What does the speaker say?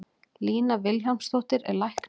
Lína Vilhjálmsdóttir er læknir.